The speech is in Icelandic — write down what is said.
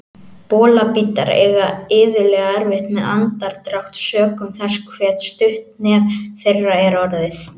Bolabítar eiga iðulega erfitt með andardrátt sökum þess hve stutt nef þeirra er orðið.